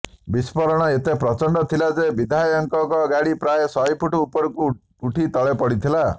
ବିସ୍ଫୋରଣ ଏତେ ପ୍ରଚଣ୍ଡ ଥିଲା ଯେ ବିଧାୟକଙ୍କ ଗାଡ଼ି ପ୍ରାୟ ଶହେ ଫୁଟ ଉପରକୁ ଉଡ଼ି ତଳେପଡ଼ିଥିଲା